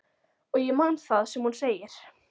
Og ég man það sem hún segir.